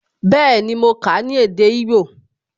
Bẹẹni, mo kà á ní èdè igbó